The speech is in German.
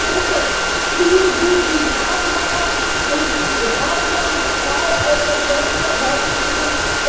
Bitte ziehen Sie die Scharfmacher und die Hardliner, gerade auf der Gläubigerseite, zurück!